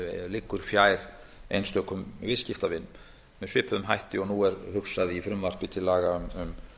liggur fjær einstökum viðskiptavinum með svipuðum hætti og nú er hugsað í frumvarpi til laga um